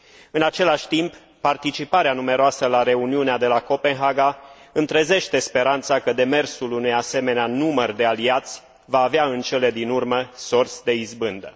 În același timp, participarea numeroasă la reuniunea de la Copenhaga îmi trezește speranța că demersul unui asemenea număr de aliați va avea, în cele din urmă, sorți de izbândă.